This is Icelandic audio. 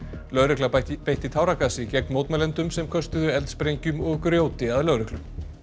lögregla beitti beitti táragasi gegn mótmælendum sem köstuðu eldsprengjum og grjóti að lögreglu